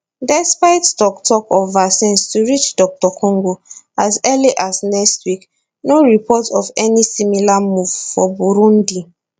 despite toktok of vaccines to reach dr congo as early as next week no reports of any similar move for burundi